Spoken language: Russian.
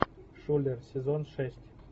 шулер сезон шесть